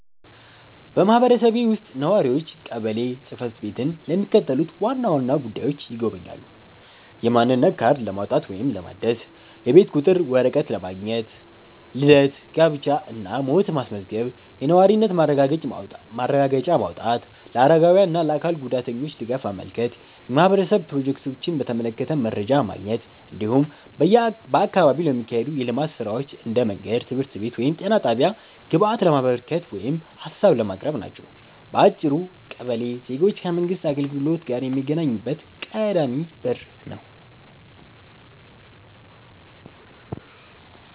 በማህበረሰቤ ውስጥ ነዋሪዎች ቀበሌ ጽ/ቤትን ለሚከተሉት ዋና ዋና ጉዳዮች ይጎበኛሉ፦ የማንነት ካርድ ለማውጣት ወይም ለማደስ፣ የቤት ቁጥር ወረቀት ማግኘት፣ ልደት፣ ጋብቻ እና ሞት ማስመዝገብ፣ የነዋሪነት ማረጋገጫ ማውጣት፣ ለአረጋውያን እና ለአካል ጉዳተኞች ድጋፍ ማመልከት፣ የማህበረሰብ ፕሮጀክቶችን በተመለከተ መረጃ ማግኘት፣ እንዲሁም በአካባቢው ለሚካሄዱ የልማት ሥራዎች (እንደ መንገድ፣ ትምህርት ቤት ወይም ጤና ጣቢያ) ግብአት ለማበርከት ወይም ሀሳብ ለማቅረብ ናቸው። በአጭሩ ቀበሌ ዜጎች ከመንግሥት አገልግሎት ጋር የሚገናኙበት ቀዳሚ በር ነው።